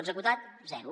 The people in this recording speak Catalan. executat zero